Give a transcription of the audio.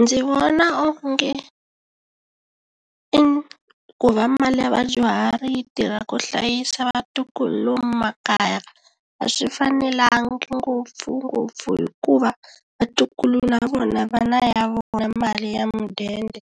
Ndzi vona onge i ku va mali ya vadyuhari yi tirha ku hlayisa vatukulu lomu makaya a swi fanelangi ngopfungopfu hikuva vatukulu na vona vana ya vona mali ya mudende